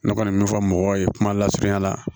Ne kɔni bɛ min fɔ mɔgɔw ye kuma lasurunya la